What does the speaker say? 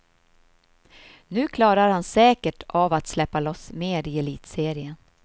Nu klarar han säkert av att släppa loss mer i elitserien.